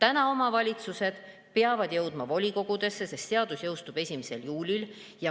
Aga omavalitsused peavad jõudma volikogudesse, sest seadus jõustub 1. juulil.